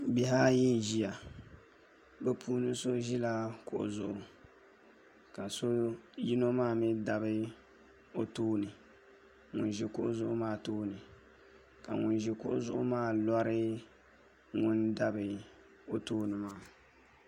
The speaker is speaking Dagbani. Bihi ayi n ʒiya bi puuni so ʒila kuɣu zuɣu ka yino maa mii dabi o tooni ŋun ʒi kuɣu zuɣu maa tooni ka ŋun ʒi kuɣu zuɣu maa lori ŋun dabi o tooni maa